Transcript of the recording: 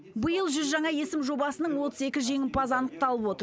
биыл жүз жаңа есім жобасының отыз екі жеңімпазы анықталып отыр